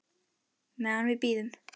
Meðan við bíðum.